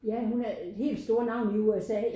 Ja hun er helt store navn i USA